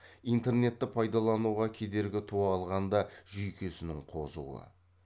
интернетті пайдалануға кедергі туа қалғанда жүйкесінің қозуы